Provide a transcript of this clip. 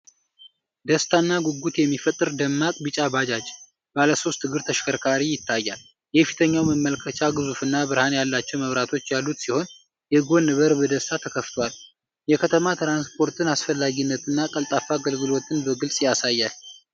ደስታና ጉጉት የሚፈጥር ደማቅ ቢጫ ባጃጅ (ባለ ሦስት እግር ተሽከርካሪ) ይታያል! የፊተኛው መመልከቻ ግዙፍና ብርሃን ያላቸው መብራቶች ያሉት ሲሆን፣ የጎን በር በደስታ ተከፍቷል። የከተማ ትራንስፖርትን አስፈላጊነትና ቀልጣፋ አገልግሎትን በግልጽ ያሳያል።